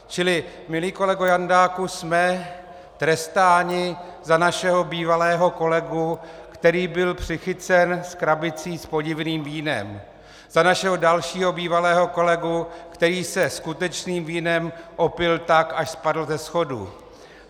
Čili milý kolego Jandáku, jsme trestáni za našeho bývalého kolegu, který byl přichycen s krabicí s podivným vínem, za našeho dalšího bývalého kolegu, který se skutečným vínem opil tak, až spadl ze schodů.